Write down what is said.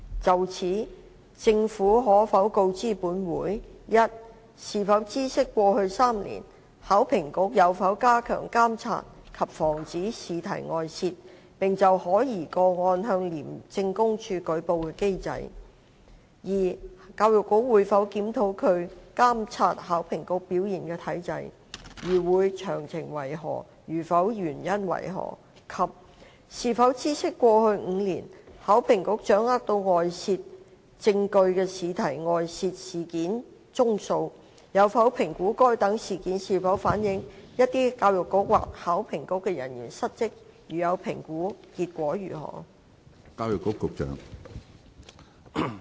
就此，政府可否告知本會：一是否知悉過去3年，考評局有否加強監察及防止試題外泄，並就可疑個案向廉政公署舉報的機制；二教育局會否檢討它監察考評局表現的機制；如會，詳情為何；如否，原因為何；及三是否知悉過去5年，考評局掌握到外泄證據的試題外泄事件宗數；有否評估該等事件是否反映有一些教育局或考評局的人員失職；如有評估，結果為何？